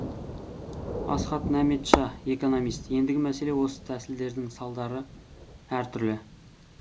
асхат нәметша экономист ендігі мәселе осы тәсілдердің салдары әртүрлі